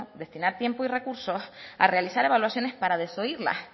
destinar tiempo y recursos a realizar evaluaciones para desoírlas